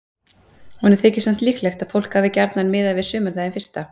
Honum þykir samt líklegt að fólk hafi gjarnan miðað við sumardaginn fyrsta.